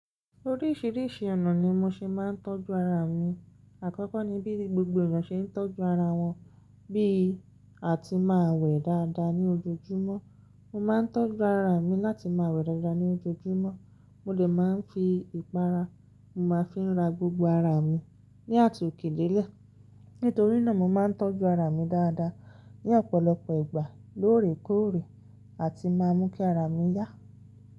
Oríṣìíríṣìí ọ̀nà ni mo ṣe máa ń tọ́jú ara mi. Àkọ́kọ́ ni bí gbogbo ènìyàn ṣe ń tọ́jú ara wọn, bí a ti máa wẹ̀ dáadáa ní ojoojúmọ́. Mo máa ń tọ́jú ara mi láti máa wẹ̀ dáadáa ní ojoojúmọ́. Mo dè máa ń fi ìpara, mo máa ń fi ra gbogbo ara mi ní àtòkèdélé. Nítorí náà, mo máa ń tọ́jú ara mi dáadáa ní ọ̀pọ̀lọpọ̀ ìgbà lóòrèkóòrè a ti máa mú kí ara mi yá.